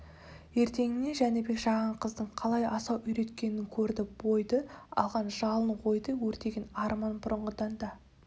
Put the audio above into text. ертеңіне жәнібек жаған қыздың қалай асау үйреткенін көрді бойды алған жалын ойды өртеген арман бұрынғыдан да